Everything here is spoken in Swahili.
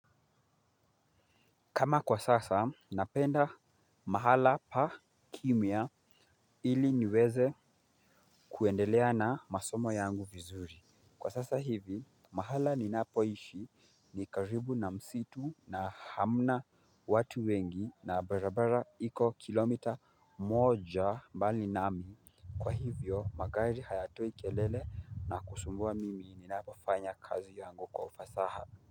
Kama kwa sasa, napenda mahala pa kimya ili niweze kuendelea na masomo yangu vizuri. Kwa sasa hivi, mahala ninapoishi ni karibu na msitu na hamna watu wengi na barabara iko kilomita moja mbali nami. Kwa hivyo, magari hayatoi kelele na kusumbua mimi ninapofanya kazi yangu kwa ufasaha.